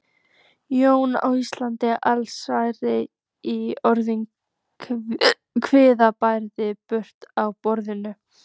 Jólin á Íslandi: Allsnægtir í orði, kvíðablandið bruðl á borði.